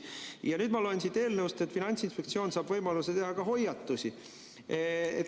Ja nüüd ma loen siit eelnõust, et Finantsinspektsioon saab võimaluse teha ka hoiatusi.